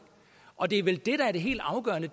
og det er vel det der er det helt afgørende